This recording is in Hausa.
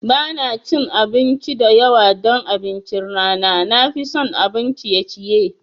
Ba na cin abinci da yawa don abincin rana, na fi son abun ciye ciye.